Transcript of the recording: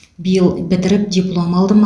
биыл бітіріп диплом алдым